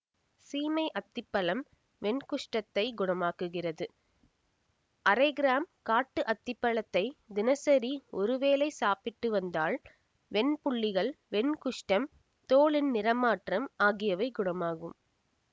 சீமை அத்தி பழம் வெண்குஷ்டத்தை குணமாக்குகிறது அரை கிராம் காட்டு அத்திப்பழத்தை தினசரி ஒரு வேளை சாப்பிட்டு வந்தால் வெண்புள்ளிகள் வெண் குஷ்டம் தோலின் நிறமாற்றம் ஆகியவை குணமாகும்